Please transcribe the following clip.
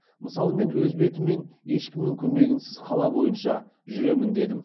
мысалы мен өз бетіммен ешкімнің көмегенсіз қала бойынша жүремін дедім